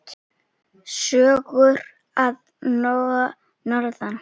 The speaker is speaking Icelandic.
Sögur að norðan.